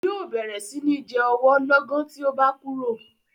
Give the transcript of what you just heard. Yóò bẹ̀rẹ̀ sí ní jẹ ọwọ́ lọ́gán tí o bá kúrò.